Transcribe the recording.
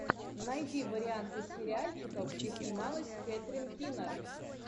найди варианты сериальчиков где снималась кэтрин кинер